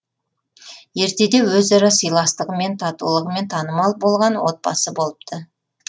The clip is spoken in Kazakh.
ертеде өзара сыйластығымен татулығымен танымал болған отбасы болыпты